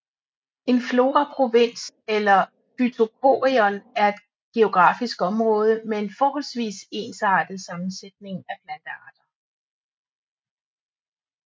En floraprovins eller et phytochorion er et geografisk område med en forholdsvis ensartet sammensætning af plantearter